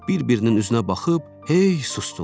Bir-birinin üzünə baxıb hey susdular.